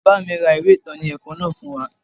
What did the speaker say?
Bàbá mi ra ìwé ìtọ́ni ẹ̀kọ́ náà fún wa